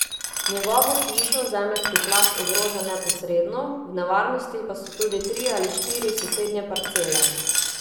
Njegovo hišo zemeljski plaz ogroža neposredno, v nevarnosti pa so tudi tri ali štiri sosednje parcele.